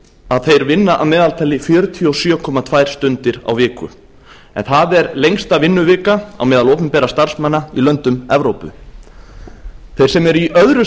að þeir vinna að meðaltali fjörutíu og sjö komma tvær stundir á viku en það er lengsta vinnuvika á meðal opinberra starfsmanna í löndum evrópu þeir sem eru í öðru